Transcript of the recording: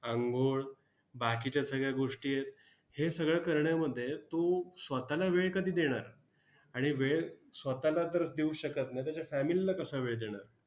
अंघोळ, बाकीच्या सगळ्या गोष्टी आहेत. हे सगळं करण्यामध्ये तू स्वतःला वेळ कधी देणार? आणि वेळ स्वतःला तर देऊच शकत नाही, त्याच्यात family ला कसा वेळ देणार?